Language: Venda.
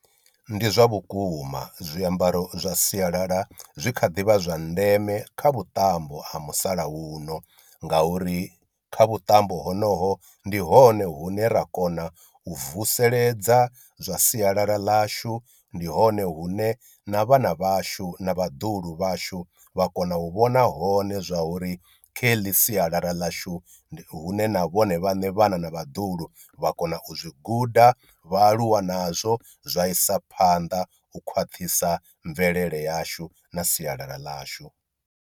Ndi zwa vhukuma zwiambaro zwa sialala zwi kha ḓi vha zwa ndeme kha vhuṱambo ha musalauno, ngauri kha vhuṱambo honoho ndi hone hune ra kona u vuseledza zwa sialala ḽashu, ndi hone hune na vhana vhashu na vhaḓuhulu vhashu vha kona u vhona hone zwa uri kha heḽi sialala ḽashu hune na vhone vhaṋe vhana na vhaḓuhulu vha kona u zwi guda vha aluwa nazwo zwa isa phanḓa u khwaṱhisa mvelele yashu na sialala ḽashu.